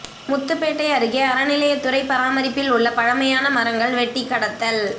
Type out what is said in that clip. முத்துப்பேட்டை அருகே அறநிலையத்துறை பராமரிப்பில் உள்ள பழமையான மரங்கள் வெட்டி கடத்தல்